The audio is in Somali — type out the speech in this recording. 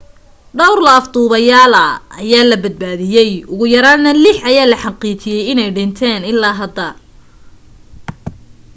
dhawr la afduubeyaala ayaa la badbaadiyay ugu yaraana lix ayaa la xaqiijiyay inay dhinteen ilaa hadda